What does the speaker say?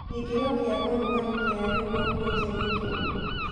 gĩkĩro kĩa ũrũgarĩ kia riu guku ja ni kirikũ